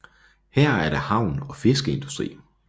Her er der havn og fiskeindustri